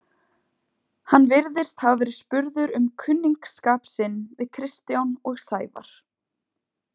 Hann virðist hafa verið spurður um kunningsskap sinn við Kristján og Sævar.